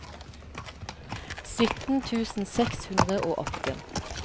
sytten tusen seks hundre og åtte